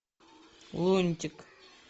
лунтик